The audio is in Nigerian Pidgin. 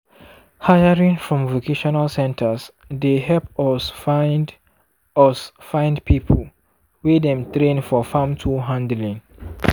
hiring from vocational centres dey help us find us find people wey dem train for farm tool handling.